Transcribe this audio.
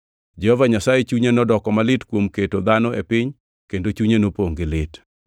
Jehova Nyasaye chunye nodoko malit kuom keto dhano e piny kendo chunye nopongʼ gi lit.